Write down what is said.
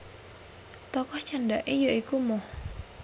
Tokoh candhake ya iku Moh